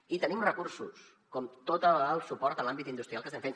i tenim recursos com tot el suport en l’àmbit industrial que estem fent